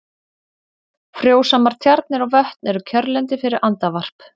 Frjósamar tjarnir og vötn eru kjörlendi fyrir andavarp.